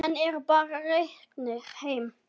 Menn eru bara reknir heim.